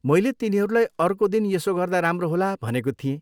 मैले तिनीहरूलाई अर्को दिन यसो गर्दा राम्रो होला भनेको थिएँ।